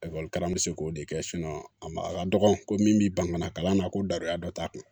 Ekɔlikarama bɛ se k'o de kɛ a ma a ka dɔgɔn ko min b'i bangana kalan na ko dara dɔ ta kun